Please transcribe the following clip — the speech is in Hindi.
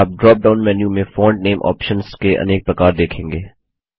आप ड्रोप डाउन मेन्यू में फॉन्ट नेम ऑप्शन्स के अनेक प्रकार देखेंगे